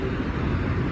Xalq düşdü məscidə.